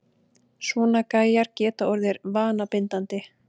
Svona gæjar geta orðið vanabindandi!